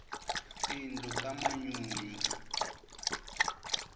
tindlu ta manyunyu